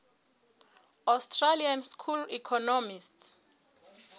austrian school economists